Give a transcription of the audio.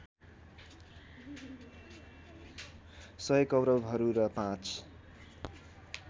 १०० कौरवहरू र पाँच